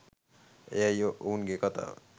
එයයි ඔවුන්ගේ කතාව